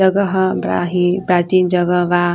जगह ह बड़ा ही प्राचीन जगह बा।